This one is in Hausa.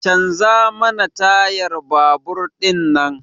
Canza mana tayar babur din nan!